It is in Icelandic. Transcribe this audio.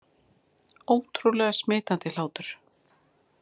Ótrúlega smitandi hlátur